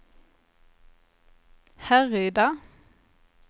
Härryda